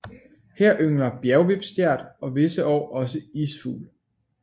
Her yngler bjergvipstjert og visse år også isfugl